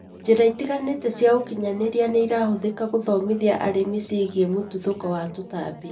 Njĩra itiganĩte cia ũkinyanĩria nĩirahũthĩka gũthomithia arĩmi ciĩgiĩ mũtuthũko wa tũtambi